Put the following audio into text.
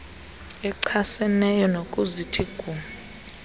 achaseneyo ukuzithi gu